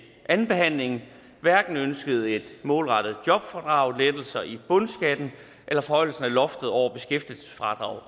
andenbehandlingen hverken ønskede et målrettet jobfradrag lettelser i bundskatten eller forhøjelse af loftet over beskæftigelsesfradraget